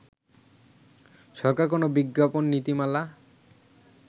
সরকার কোন বিজ্ঞাপন নীতিমালা